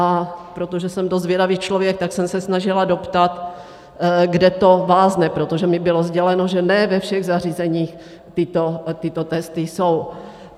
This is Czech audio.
A protože jsem dost zvědavý člověk, tak jsem se snažila doptat, kde to vázne, protože mi bylo sděleno, že ne ve všech zařízeních tyto testy jsou.